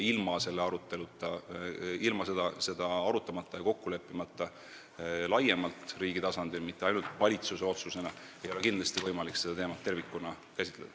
Ilma seda arutamata ja siin kokku leppimata – laiemalt riigi tasandil, mitte ainult valitsuse otsusena – ei ole kindlasti võimalik seda teemat tervikuna käsitleda.